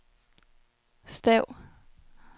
stav